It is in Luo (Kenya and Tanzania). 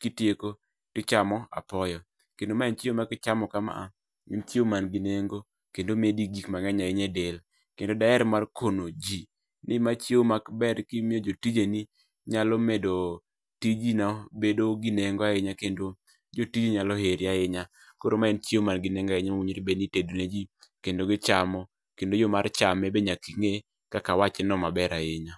kitieko tichamo apoyo kendo mae en chiemo ma kichamo kama en chiemo man gi neng'o kendo omedi gik mang'eny ahinya e del kendo daher mar kono ji ni ma chiemo maber ka imiyo jotijeni nyalo medo tijino bedo gi nengo ahinya kendo jotiji nyalo heri ahinya koro ma en chiemo man gi neng'o ahinya mi tedo ne ji kendi michamo kendo jo mar chame be nyaka ing'e kaka awacheno maber ahinya .